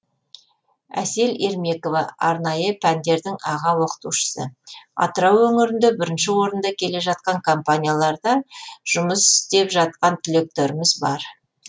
әсел ермекова арнайы пәндердің аға оқытушысы атырау өңірінде бірінші орында келе жатқан компанияларда жұмыс істеп жатқан түлектеріміз бар